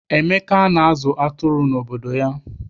Emeka na-azụ atụrụ n'obodo ya.